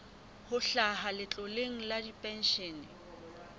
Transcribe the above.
ho hlaha letloleng la dipenshene